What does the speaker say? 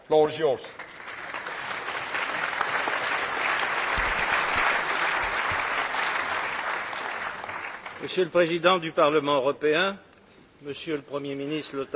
Monsieur le Président du Parlement européen, Monsieur le Premier ministre Lothar de Maizière, Monsieur le Président du Conseil européen, Monsieur le Président de la Commission européenne, Excellences,